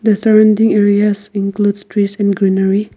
the surroundings areas includes trees and greenery.